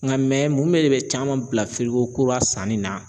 Nka mun de bɛ caman bila firigo kura sanni na?